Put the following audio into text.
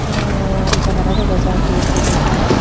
aroh janala dega jar door dega jaar.